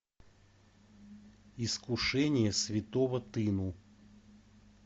искушение святого тыну